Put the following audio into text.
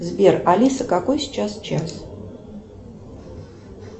сбер алиса какой сейчас час